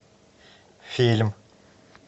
фильм